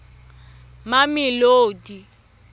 mamelodi